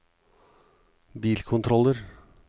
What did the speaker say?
bilkontroller